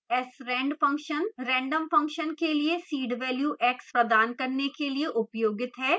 srand x random function के लिए seed value x प्रदान करने के लिए उपयोगित है